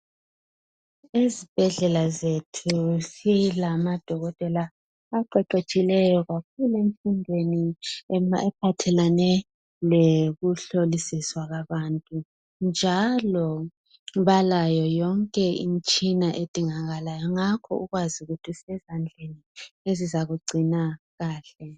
Ezibhedlela zethu silamadokotela aqeqetshileyo kakhulu emfundweni eziphathelane lokuhlolisiswa kwabantu njalo balayo yonke imitshina edingakalayo ngakho ukwazi ukuthi usezandleni ezizakugcina kahle.